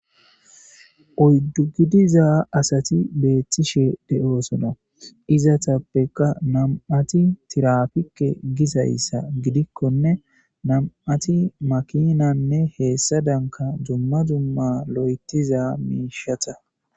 Oyddu gidiza asati beeththishe de'oosona izatappeka nam'ati tirafike gizayssa gidikkonne nam'ati makinanne heessa danka dumma zumma lo'etiza miishata